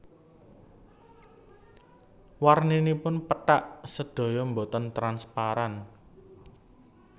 Warninipun pethak sedaya boten transparan